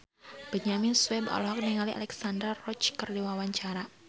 Benyamin Sueb olohok ningali Alexandra Roach keur diwawancara